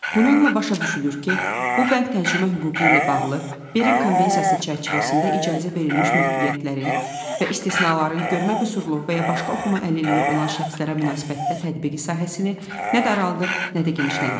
Bununla başa düşülür ki, bu bənd tərcümə hüququ ilə bağlı Berin konvensiyası çərçivəsində icazə verilmiş məhdudiyyətlərin və istisnaların görmə qüsurlu və ya başqa oxuma əlilliyi olan şəxslərə münasibətdə tətbiqi sahəsini nə də araldır, nə də genişləndirir.